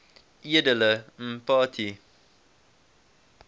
edele mpati